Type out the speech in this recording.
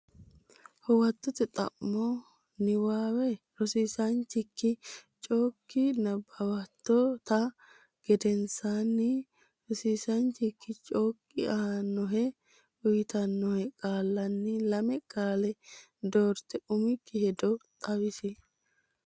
Huwatote Xa mo Niwaawe rosiisaanchikki chokki nabbawitto tta gedensaanni rosiisaanchikki chokki aannohe uyitannohe qaallanni lame qaale doorte umikki hedo xawisi.